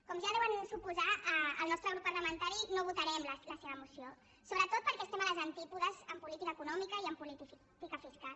com ja deuen suposar el nostre grup parlamentari no votarem la seva moció sobretot perquè estem a les antípodes en política econòmica i en política fiscal